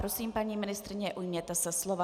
Prosím, paní ministryně, ujměte se slova.